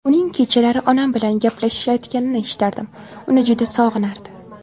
Uning kechalari onam bilan gaplashayotganini eshitardim, uni juda sog‘inardi.